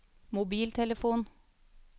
mobiltelefon